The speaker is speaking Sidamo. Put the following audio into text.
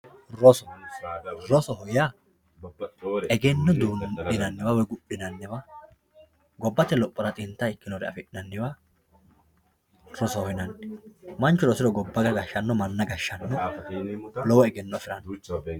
Roso, rosoho yaa eggeno duu'ninaniwa woyi gudhinaniwa gobate loohora xinta ikkinore afinaniwa rosoho yinanni, manchu rosiro gabbano gadhano manano gashano lowo eggenno affiranno